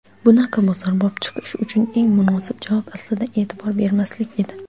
Bunaqa "bozorbop" chiqish uchun eng munosib javob aslida e’tibor bermaslik edi.